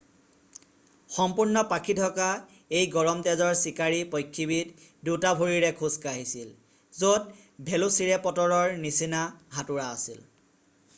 সম্পূৰ্ণ পাখি ঢকা এই গৰম তেজৰ চিকাৰী পক্ষীবিধ 2 টা ভৰিৰে খোজ কাঢ়িছিল য'ত ভেলোচিৰেপটৰৰ নিচিনা হাতোৰা আছিল